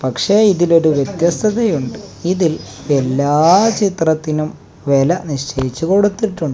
പക്ഷേ ഇതിലൊരു വ്യത്യസ്തതയുണ്ട് ഇതിൽ എല്ലാ ചിത്രത്തിനും വെല നിശ്ചയിച്ചു കൊടുത്തിട്ടുണ്ട്.